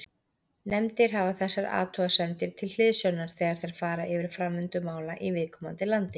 Nefndir hafa þessar athugasemdir til hliðsjónar þegar þær fara yfir framvindu mála í viðkomandi landi.